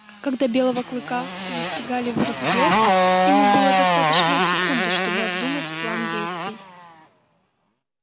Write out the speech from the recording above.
когда белого клыка застигали врасплох ему было достаточно секунды чтобы обдумать план действий